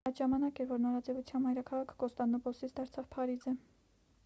այդ ժամանակ էր որ նորաձևության մայրաքաղաքը կոնստանդնուպոլսից դարձավ փարիզը